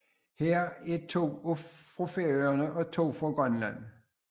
Heraf er to fra Færøerne og to fra Grønland